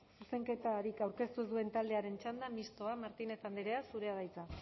zuzenketarik aurkeztu ez duen taldearen txanda mistoa martínez andrea zurea da hitza